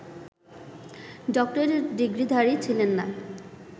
doctorate ডিগ্রিধারী ছিলেন না